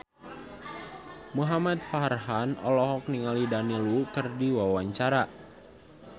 Muhamad Farhan olohok ningali Daniel Wu keur diwawancara